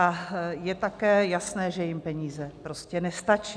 A je také jasné, že jim peníze prostě nestačí.